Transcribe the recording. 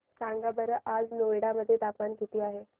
सांगा बरं आज नोएडा मध्ये तापमान किती आहे